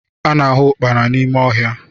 A na-ahụ Ụkpana n'ime ọhịa